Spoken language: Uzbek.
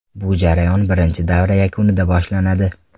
Bu jarayon birinchi davra yakunida boshlanadi.